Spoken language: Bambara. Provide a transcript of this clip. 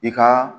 I ka